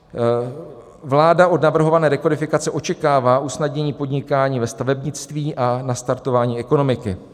Vláda od navrhované rekodifikace očekává usnadnění podnikání ve stavebnictví a nastartování ekonomiky.